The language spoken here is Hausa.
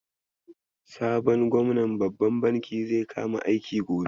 Sabon gwamnan babban bankin zai kama aiki gobe.